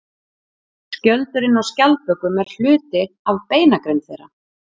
Skjöldurinn á skjaldbökum er hluti af beinagrind þeirra.